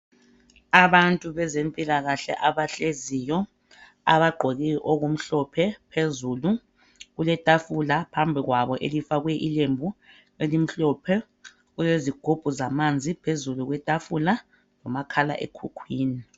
abantu bezempilakahle abahleziyo abagqoke okumhlophe phezulu kuletafula phabi kwabo elifakwe ilembu elimhlophe kulezigubhu zamanzi phezulu kwetafula lomkhala ekhukhwini